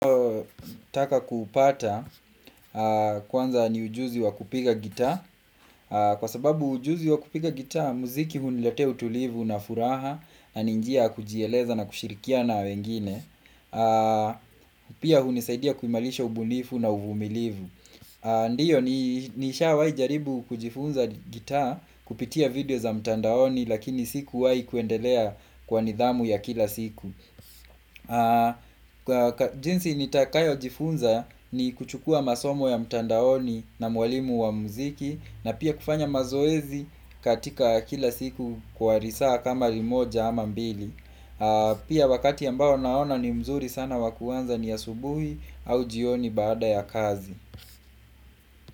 Taka kupata kwanza ni ujuzi wa kupiga gita Kwasababu ujuzi wa kupiga gita, muziki hunilitea utulivu na furaha na ni njia kujieleza na kushirikiana na wengine Pia hunisaidia kuimarisha ubunifu na uvumilivu Ndio nishawahi jaribu kujifunza gita Kupitia video za mtandaoni lakini sikuwahi kuendelea kwa nidhamu ya kila siku jinsi nitakayojifunza ni kuchukua masomo ya mtandaoni na mwalimu wa muziki na pia kufanya mazoezi katika kila siku kwa risaa kama limoja ama mbili Pia wakati ambao naona ni mzuri sana wakuanza ni asubuhi au jioni baada ya kazi.